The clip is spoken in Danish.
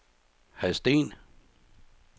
Hadsten